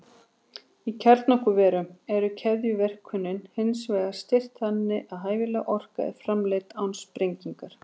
Í kjarnorkuverum er keðjuverkuninni hins vegar stýrt þannig að hæfileg orka er framleidd án sprengingar.